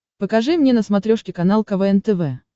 покажи мне на смотрешке канал квн тв